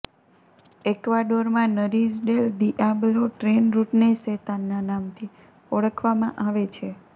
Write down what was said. એક્વાડોરમાં Nariz del Diablo train રૂટને શેતાનના નામથી ઓળખવામાં આવે છે